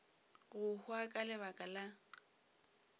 go hwa ka lebaka la